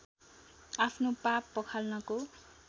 आफ्नो पाप पखाल्नको